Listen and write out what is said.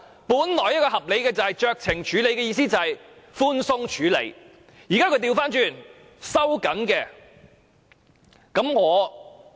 本來酌情處理的意思是寬鬆處理，但現時卻反過來收緊了。